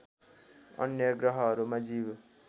अन्य ग्रहहरूमा जीव